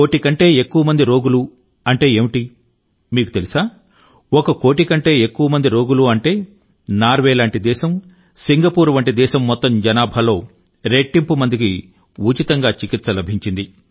కోటి కంటే ఎక్కువ మంది రోగులు అంటే ఏమిటి మీకు తెలుసా ఒక కోటి కంటే ఎక్కువ మంది రోగులు అంటే నార్వే లాంటి దేశం సింగపూర్ వంటి దేశం మొత్తం జనాభాలో రెట్టింపు మందికి ఉచితంగా చికిత్స లభించింది